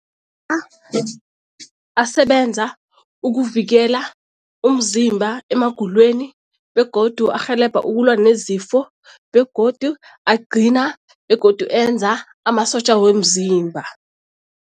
asebenza ukuvikela umzimba emagulweni begodu arhelebha ukulwa nezifo begodu agcina begodu enza amasotja womzimba.